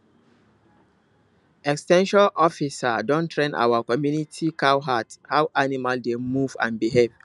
ex ten sion officer don train our community cowherd how animal dey move and behave